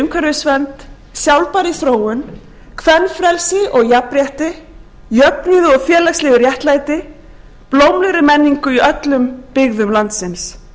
umhverfisvernd sjálfbærri þróun kvenfrelsi og jafnrétti jöfnuði og félagslegu réttlæti blómlegri menningu í öllum byggðum landsins